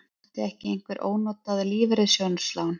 Átti ekki einhver ónotað lífeyrissjóðslán?